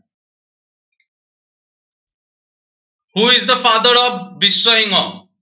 Who is the father of Biswa Singha